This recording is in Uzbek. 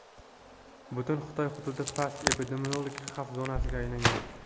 Butun Xitoy hududi past epidemiologik xavf zonasiga aylangan .